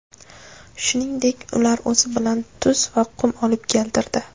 Shuningdek, ular o‘zi bilan tuz va qum olib keltirdi.